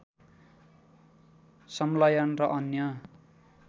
संलयन र अन्य